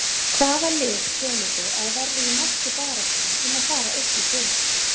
Hvaða lið telurðu að verði í mestu baráttunni um að fara upp í sumar?